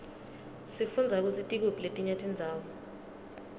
sifundza kutsi tikuphi letinye tindzawo